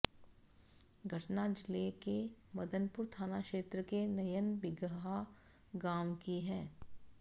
घटना जिले के मदनपुर थाना क्षेत्र के नयन बिगहा गांव की है